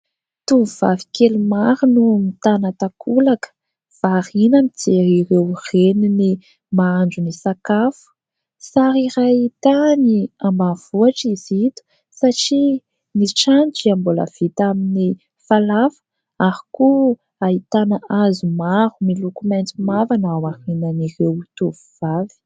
Tovovavy kely maro no mitana takolaka varina mijery ireo reniny mahandro ny sakafo. Sary iray tany ambanivohitra izy ito satria ny trano dia mbola vita amin'ny falafa ary koa ahitana hazo maro miloko maitso mavana ao aorinan'ireo tovovavy.